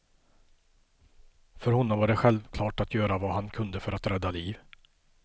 För honom var det självklart att göra vad han klunde för att rädda liv.